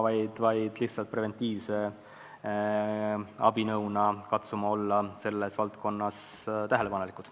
Lihtsalt peame preventiivse abinõuna katsuma olla selles valdkonnas tähelepanelikud.